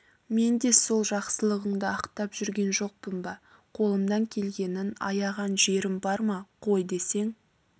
мен де сол жақсылығыңды ақтап жүрген жоқпын ба қолымнан келгенін аяған жерім бар ма қой десең